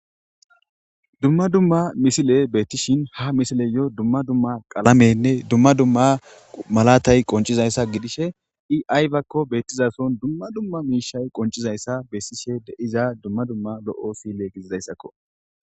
Dumma dumma misile beettishin ha misileyo dumma dumma qalamenne dumma dumma malatay qoncizayssa gidishe i ayyakko beettizason dumma dumma miishay qoncizayssa bessishe deiza dumma dumma lo'o sile gididayssakko